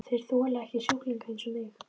Þeir þola ekki sjúklinga eins og mig.